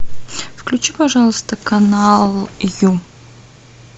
включи пожалуйста канал ю